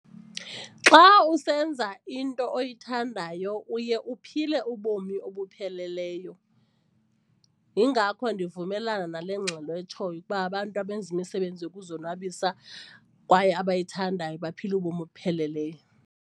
Xa usenza into oyithandayo uye uphile ubomi obupheleleyo yingakho ndiyavumelana nale ngxelo etshoyo ukuba abantu abenza imisebenzi yokuzonwabisa kwaye abayithandayo baphila ubomi obupheleleyo.